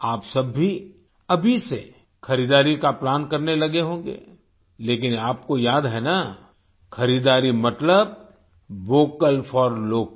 आप सब भी अभी से खरीदारी का प्लान करने लगे होंगे लेकिन आपको याद है न खरीदारी मतलब वोकल फोर लोकल